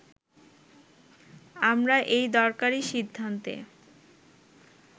আমরা এই দরকারি সিদ্ধান্তে